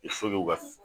ka